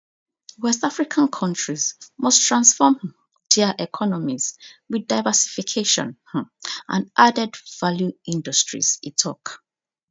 west african countries must transform um dia economies with diversification um and added value industries e tok